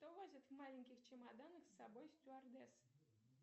что возят в маленьких чемоданах с собой стюардессы